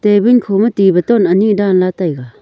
table khoma ti batton bottle ani danla taiga.